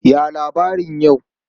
Ya labarin yau?